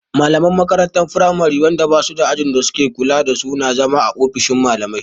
Malaman makarantar firamari wanda ba suda ajin da suke kula da su na zama a ofishin malamai